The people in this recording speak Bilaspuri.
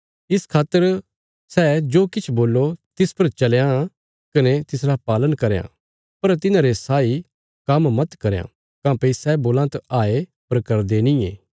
इस खातर सै जो किछ बोल्लो तिस पर चलयां कने तिसरा पालन करयां पर तिन्हारे साई काम्म मत करयां काँह्भई सै बोलां त हाये पर करदे नींये